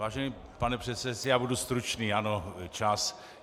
Vážený pane předsedající, já budu stručný, ano, čas.